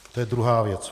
To je druhá věc.